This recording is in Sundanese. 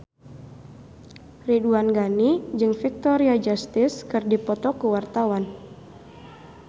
Ridwan Ghani jeung Victoria Justice keur dipoto ku wartawan